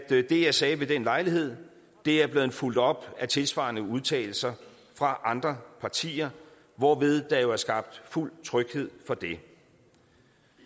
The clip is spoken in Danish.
det jeg sagde ved den lejlighed er blevet fulgt op af tilsvarende udtalelser fra andre partier hvorved der jo er skabt fuld tryghed for det